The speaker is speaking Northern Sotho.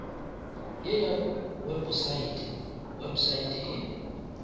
ye ya weposaete website e